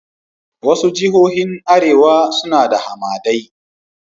Wasu jihohin arewa suna da hamadai